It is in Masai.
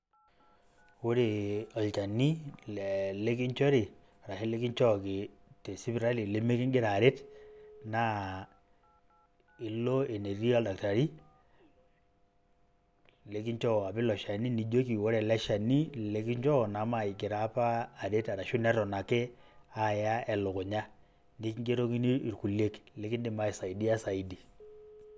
Ore olchani le likinchori arashu likinchooki te sipitali limikigira aret, naa ilo enetii oldaktari likinchoo apa iloshani, nijoki kore ele shani likinchoo namagira apa aret arashu neton ake aaya elukunya. Nikingerokini ilkulie likindim aisaidia saidi.